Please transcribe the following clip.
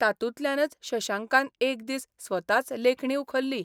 तातूंतल्यानच शशांकान एक दीस स्वताच लेखणी उखल्ली.